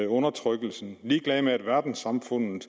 undertrykkelsen ligeglad med at verdenssamfundet